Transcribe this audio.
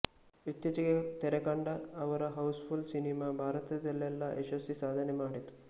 ಇತ್ತೀಚೆಗೆ ತೆರೆಕಂಡ ಅವರ ಹೌಸ್ ಫುಲ್ಸಿನಿಮಾ ಭಾರತದಲ್ಲೆಲ್ಲಾ ಯಶಸ್ವಿ ಸಾಧನೆ ಮಾಡಿತು